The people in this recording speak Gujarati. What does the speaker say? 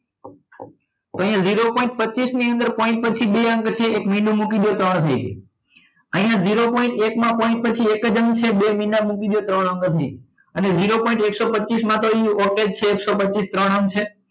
અહીંયા zero point પચીસ ની અંદર પછી બે અંક છે મીંડું મૂકીને તમારા થઈ જશે અહીંયા zero point એકમાં એક જ અંક છે બે મીંડા મૂકી દો ત્રણ અંક થઈ જશે અને zero point એકસો પચીસ માં okay જ એકસો પચીસ ત્રણ અંક છે